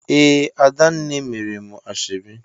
Ee, Adanna mere m ashebi